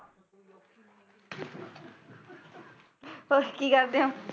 ਹੋਰ ਕੀ ਕਰਦੇ ਓ?